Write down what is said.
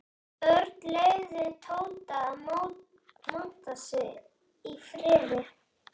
Örn leyfði Tóta að monta sig í friði.